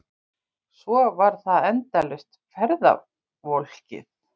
Svo var það endalaust ferðavolkið.